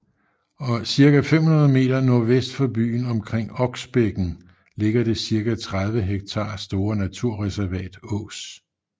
Cirka 500 meter nordvest for byen omkring Oksbækken ligger det cirka 30 ha store naturreservat Ås